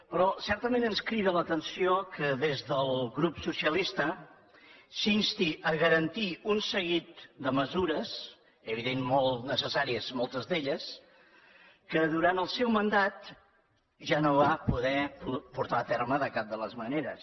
però certament ens crida l’atenció que des del grup socialista s’insti a garantir un seguit de mesures evidentment molt necessàries moltes d’elles que durant el seu mandat ja no va poder portar a terme de cap de les maneres